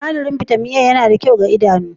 Sinadarin bitamin A yana da kyau ga idanu